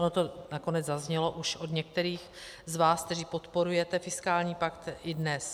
Ono to nakonec zaznělo už od některých z vás, kteří podporujete fiskální pakt, i dnes.